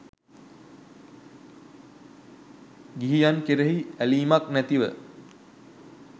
ගිහියන් කෙරෙහි ඇලීමක් නැතිව